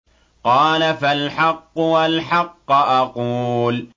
قَالَ فَالْحَقُّ وَالْحَقَّ أَقُولُ